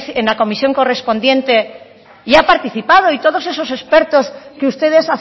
en la comisión correspondiente y ha participado y todos esos expertos que ustedes